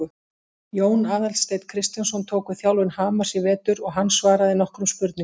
Jón Aðalsteinn Kristjánsson tók við þjálfun Hamars í vetur og hann svaraði nokkrum spurningum.